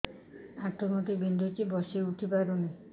ଆଣ୍ଠୁ ଗଣ୍ଠି ବିନ୍ଧୁଛି ବସିଉଠି ପାରୁନି